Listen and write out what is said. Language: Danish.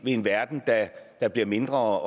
i en verden der bliver mindre